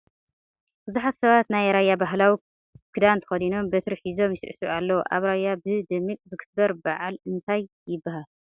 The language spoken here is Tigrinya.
ብዙሓት ሰባት ናይ ራያ ባህላዊ ክዳን ተከዲኖም በትሪ ሒዞም ይስዕስዑ ኣለዉ ። ኣብ ራያ ብ ደሚቅ ዝክበር ብዓል እንታይ ይበሃል ?